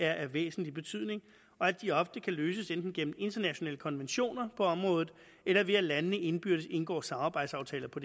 er af væsentlig betydning og at de ofte kan løses enten gennem internationale konventioner på området eller ved at landene indbyrdes indgår samarbejdsaftaler på